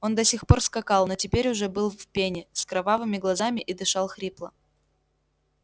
он до сих пор скакал но теперь уже был в пене с кровавыми глазами и дышал хрипло